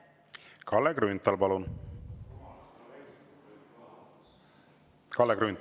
Kalle Grünthal, palun!